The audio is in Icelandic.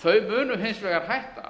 þau munu hins vegar hætta